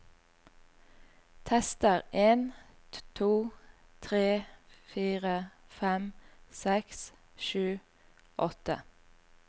Tester en to tre fire fem seks sju åtte